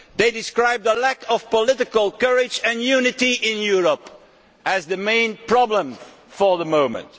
They describe the lack of political courage and unity in Europe as the main problems at the moment.